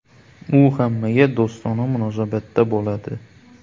U hammaga do‘stona munosabatda bo‘ladi.